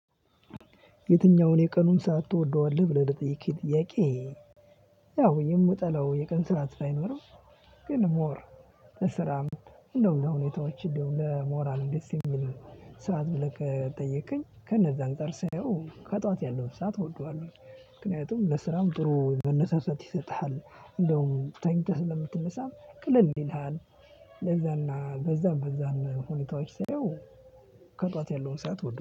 የትኛውን የቀኑን ሰዓት ትወደዋለህ ብለህ ለጠየከኝ ጥያቄ? ያው የምጠላው የቀን ስራ ባይኖርም ግን ሞር ስራም እንደው ለሁኔታዎች እንደው ለሞራል እንደዚህ የሚል ሰዓት ብለህ ከጠየቅከኝ ከነዛ አንፃር ሳየው ከጧት ያለው ሰዓት እወደዋለሁ። ምክንያቱም ለስራም ጥሩ መነሳሳት ይሰጥሃል እንደውም ተኝተህ ስለምትነሳም ቀልል ይልሃል ለዛና በዛ በዛ ሁኔታዎች ሳየው። ከጠዋት ያለውን ሰዓት ወደው